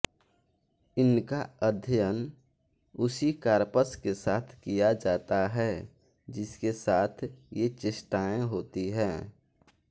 इनका अध्ययन उसी कार्पस के साथ किया जाता है जिसके साथ ये चेष्टाएँ होती हैं